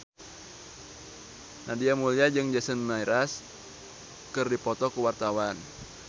Nadia Mulya jeung Jason Mraz keur dipoto ku wartawan